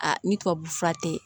ni tubabu fura tɛ